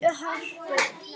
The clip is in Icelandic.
Eldborg í Hörpu.